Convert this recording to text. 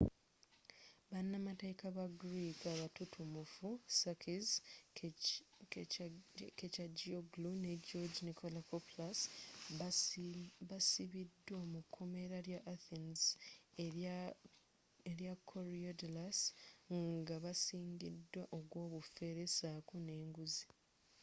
banamateeeka aba greek abatutumufu sakis kechagioglou ne george nikolakopoulos baasibiddwa mu komera lya athens erya koryadallus nga basingiddwa ogw'obufere saako n'enguzi